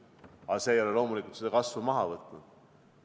Aga see ei ole loomulikult kasvu pidurdanud.